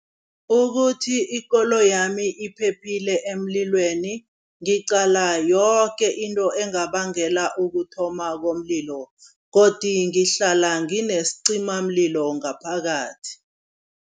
Ukuthi ikoloyi yami iphephile emlilweni, ngiqala yoke into engabangela ukuthoma komlilo godi ngihlala nginescimamlilo ngaphakathi.